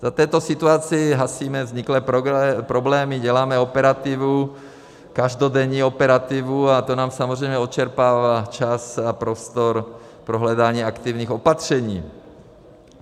V této situaci hasíme vzniklé problémy, děláme operativu, každodenní operativu, a to nám samozřejmě odčerpává čas a prostor pro hledání aktivních opatření.